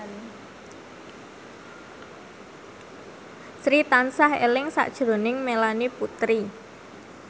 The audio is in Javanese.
Sri tansah eling sakjroning Melanie Putri